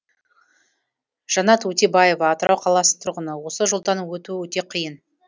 жанат өтебаева атырау қаласының тұрғыны осы жолдан өту өте қиын